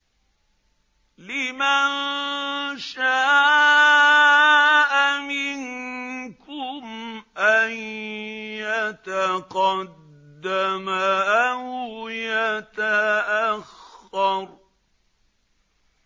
لِمَن شَاءَ مِنكُمْ أَن يَتَقَدَّمَ أَوْ يَتَأَخَّرَ